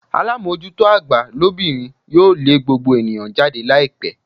Alamojuto agba lobinrin yoo le gbogbo eniyan jade laipe